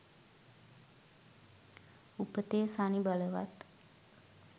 උපතේ ශනි බලවත්